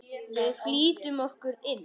Við flýtum okkur inn.